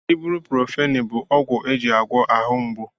Ibruprofeni bụ ọgwụ eji agwọ ahụ mgbu